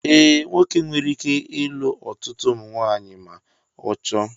Ee, nwoke nwere ike ịlụ ọtụtụ ụmụnwaanyị ma ọ chọọ